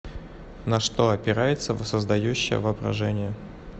на что опирается воссоздающее воображение